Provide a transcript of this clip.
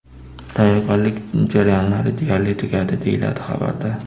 Tayyorgarlik jarayonlari deyarli tugadi, deyiladi xabarda.